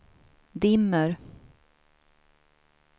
dimmer